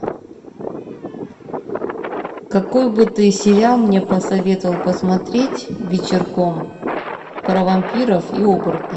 какой бы ты сериал мне посоветовал посмотреть вечерком про вампиров и оборотней